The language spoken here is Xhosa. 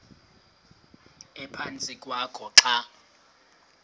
ephantsi kwakho xa